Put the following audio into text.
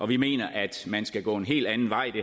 vi mener at man skal gå en helt anden vej og